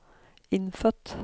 innfødt